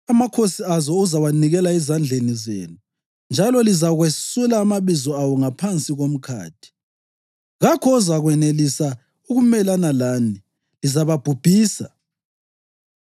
Amakhosi azo uzawanikela ezandleni zenu, njalo lizakwesula amabizo awo ngaphansi komkhathi. Kakho ozakwenelisa ukumelana lani, lizababhubhisa.